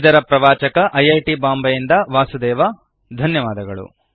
ಇದರ ಪ್ರವಾಚಕ I I T Bombay ಯಿಂದ ವಾಸುದೇವ ಧನ್ಯವಾದಗಳು